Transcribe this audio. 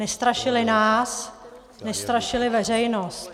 Nestrašili nás, nestrašili veřejnost.